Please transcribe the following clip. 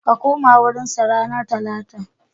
Ka koma wurinsa ranar Talata.